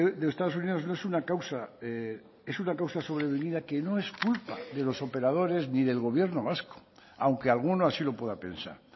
de estados unidos no es una causa es una causa sobrevenida que no es culpa de los operadores ni del gobierno vasco aunque alguno así lo pueda pensar